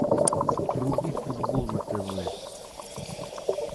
вруби футбол на тв